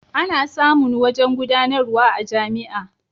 Ana samun wajen gudanarwa a jami'a.